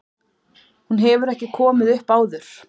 Hún hefur ekki komið upp áður